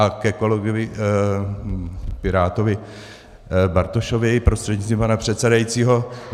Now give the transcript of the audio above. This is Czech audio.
A ke kolegovi pirátovi Bartošovi prostřednictvím pana předsedajícího.